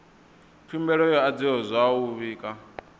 khumbelo yo adziwa zwavhui kana